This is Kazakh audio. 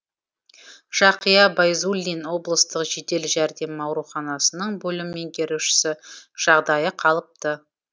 жақия байзуллин облыстық жедел жәрдем ауруханасының бөлім меңгерушісі жағдайы қалыпты